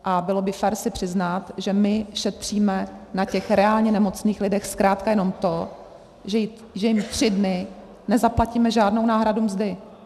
A bylo by fér si přiznat, že my šetříme na těch reálně nemocných lidech zkrátka jenom to, že jim tři dny nezaplatíme žádnou náhradu mzdy.